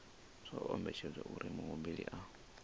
zwo ombedzelwa uri muhumbeli a